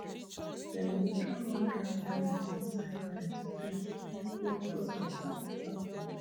dem go throw one dry kernel inside fire to test test if gods accept the offering